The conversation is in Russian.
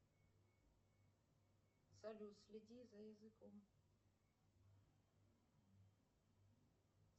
салют следи за языком